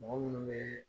Mɔgɔ munnu be